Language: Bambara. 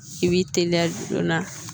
I b'i teliya joona